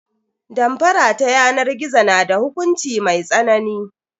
Damfara ta yanar gizo na da hukunci mai tsanani.